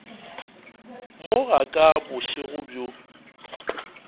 mo ga ka bošego bjo